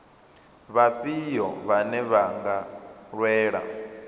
vhafhio vhane vha nga lwela